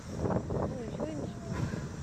ну еще эндшпиль